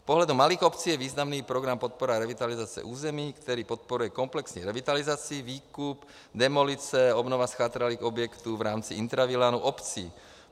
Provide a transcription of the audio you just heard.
Z pohledu malých obcí je významný program Podpora revitalizace území, který podporuje komplexní revitalizaci, výkup, demolice, obnovu zchátralých objektů v rámci intravilánu obcí.